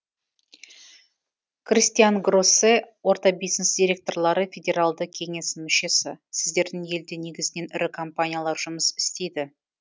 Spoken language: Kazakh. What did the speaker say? кристиан гроссе орта бизнес директорлары федералды кеңесінің мүшесі сіздердің елде негізінен ірі компаниялар жұмыс істейді